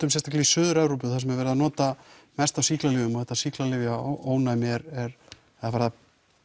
sérstaklega í suður Evrópu þar sem er verið að nota mest af sýklalyfjum og þetta sýklalyfja ónæmi er að